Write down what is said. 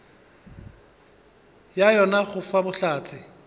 ga yona go fa bohlatse